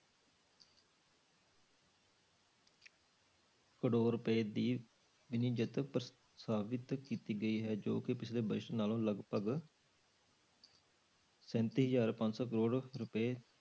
ਕਰੌੜ ਰੁਪਏ ਦੀ ਪ੍ਰਸਤਾਵਿਤ ਕੀਤੀ ਗਈ ਹੈ ਜੋ ਕਿ ਪਿੱਛਲੇ budget ਨਾਲੋਂ ਲਗਪਗ ਸੈਂਤੀ ਹਜ਼ਾਰ ਪੰਜ ਸੌ ਕਰੌੜ ਰੁਪਏ